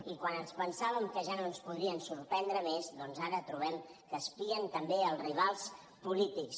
i quan ens pensàvem que ja no ens podrien sorprendre més doncs ara trobem que espien també els rivals polítics